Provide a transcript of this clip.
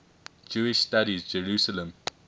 jewish studies jerusalem